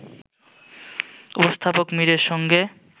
উপস্থাপক মীরের সঙ্গে